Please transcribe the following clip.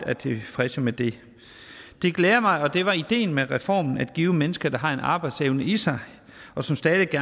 tilfredse med det det glæder mig det var ideen med reformen at give mennesker der har en arbejdsevne i sig og som stadig